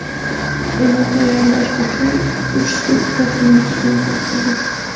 Uni tayyorlash uchun uch sutka tinimsiz mehnat qildik.